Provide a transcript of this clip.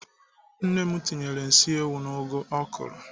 Nne m tinyere nsị ewu n'ụgụ ọ kụrụ